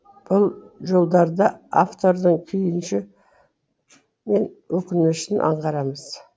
бұл жолдарда автордың күйінші мен өкінішін аңғарамыз